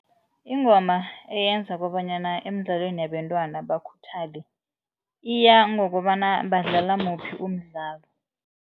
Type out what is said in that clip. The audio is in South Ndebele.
Ingoma eyenza kobanyana emidlalweni yabentwana bakhuthale iya ngokobana badlala muphi umdlalo.